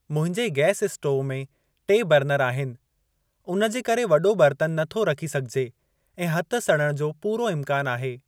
मुंहिंजे gas stove में टे बरनर आहिनि। उन जे करे वॾो बर्तन नथो रखी सघिजे ऐं हथ सड़ण जो पूरो इम्कान आहे।